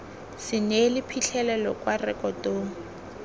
se neele phitlhelelo kwa rekotong